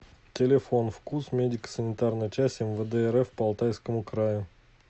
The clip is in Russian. телефон фкуз медико санитарная часть мвд рф по алтайскому краю